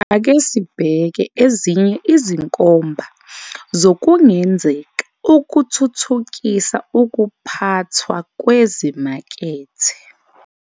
Ake sibheke ezinye izinkomba zokungenzeka ukuthuthukisa ukuphathwa kwezimakethe.